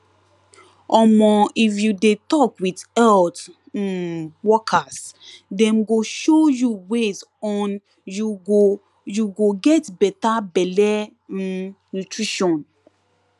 omo if you de talk with health um workers dem go show you ways on you go you go get better belle um nutrition